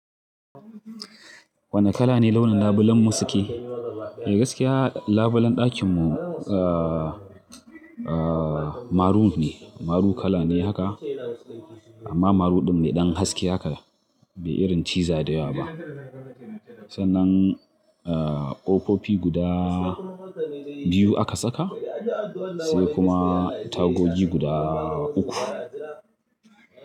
Wane kala ne launin labulen mu suke? Mai gaskiya labulen ɗakin mu a a maroon ne. Maroon kala ne haka, amma maroon ɗin ne ɗan haske haka, bai irin ciza da yawa ba. Sannan ƙofofi guda biyu aka saka, sai kuma tagogi guda uku.